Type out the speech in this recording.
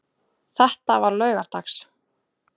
Þetta var á laugardags